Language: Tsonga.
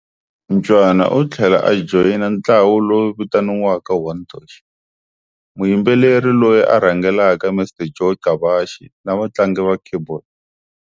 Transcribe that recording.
Ncwane u tlhela a joyina ntlawa lowu vitaniwaka'One Touch', muyimbeleri loyi a rhangelaka Mr Joe Gcabashe na vatlangi va Keyboard.